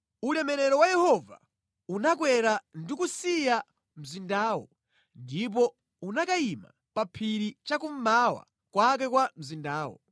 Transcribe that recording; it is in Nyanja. Ulemerero wa Yehova unakwera ndi kusiya mzindawo ndipo unakayima pa phiri cha kummawa kwake kwa mzindawo.